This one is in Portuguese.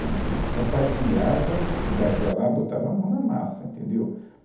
A gente compartilhava as dificuldades, ia lá botava a mão na massa, entendeu?